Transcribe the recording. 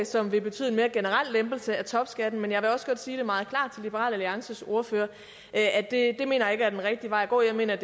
som vil betyde en mere generel lempelse af topskatten men jeg vil også godt sige meget klart til liberal alliances ordfører at det mener jeg ikke er den rigtige vej at gå jeg mener